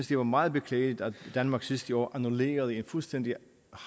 det var meget beklageligt at danmark sidste år annullerede en fuldstændig